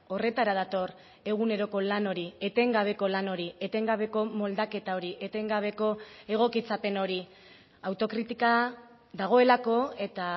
horretara dator eguneroko lan hori etengabeko lan hori etengabeko moldaketa hori etengabeko egokitzapen hori autokritika dagoelako eta